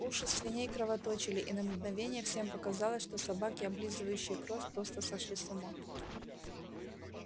уши свиней кровоточили и на мгновение всем показалось что собаки облизывающие кровь просто сошли с ума